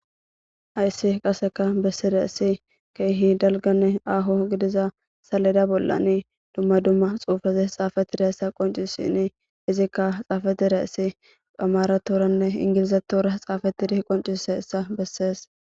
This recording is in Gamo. Hayssi qaseka bessidayse ssi keehi dalganne aaho gidiza salida bollani dumma dumma xuufazes xaafatire issa qoncisini izikka xaafatira issi phamaratoranne ingilizetora xaafatidi qoncise issa bessees